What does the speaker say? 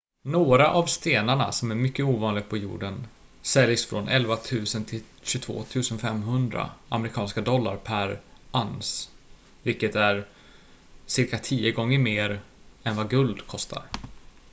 några av stenarna som är mycket ovanliga på jorden säljs från 11 000 till 22 500 amerikanska dollar per uns vilket är cirka tio gånger mer än vad guld kostar